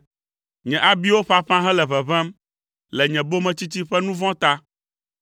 Nye abiwo ƒaƒã hele ʋeʋẽm le nye bometsitsi ƒe nu vɔ̃ ta.